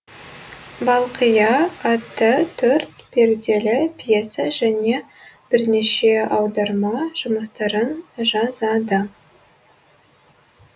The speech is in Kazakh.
балқия атты төрт перделі пьеса және бірнеше аударма жұмыстарын жазады